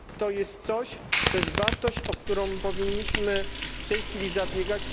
Jest to wartość, o którą powinniśmy w tej chwili zabiegać.